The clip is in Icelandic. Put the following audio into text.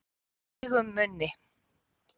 Feigum munni